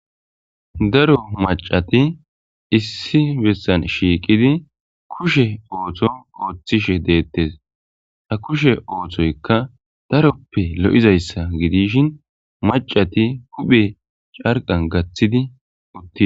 daro macati issi bessan shiiqidi kushe ooththo ooththishe deettes ha kushe ooththoykka daroppe lo7izayssa gidishin macati kuphe carqan gaththidi uttii